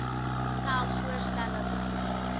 selfs voorstelle maak